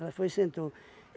Ela foi sentou.